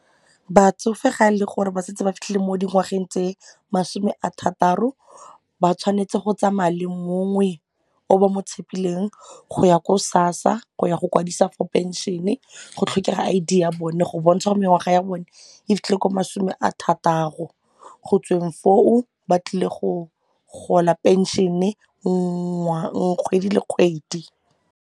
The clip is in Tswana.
Batsofe ga ele gore ba setse ba fitlhile mo dingwageng tse masome a thataro ba tshwanetse go tsamaya le mongwe o ba mo tshepileng go ya ko SASSA go yago kwadisa for pension-e, go tlhokega I_D go bontsha gore mengwaga ya bone e fitlhile ko masome a thataro, go tsweng foo ba tlile go gola pension kgwedi le kgwedi.